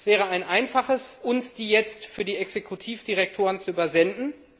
Es wäre ein Einfaches, uns diese jetzt für die Exekutivdirektoren zu übersenden.